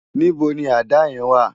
Nibó ni àdá yèn wá?